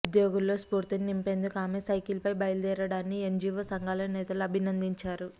ఉద్యోగుల్లో స్ఫూర్తిని నింపేందుకు ఆమె సైకిల్పై బయలుదేరడాన్ని ఎన్జీవో సంఘాల నేతలు అభినందించారు